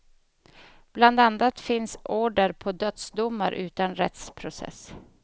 Bland annat finns order på dödsdomar utan rättsprocess.